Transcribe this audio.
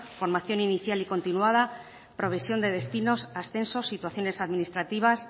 formación inicial y continuada provisión de destinos ascensos situaciones administrativas